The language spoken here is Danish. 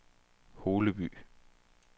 Holeby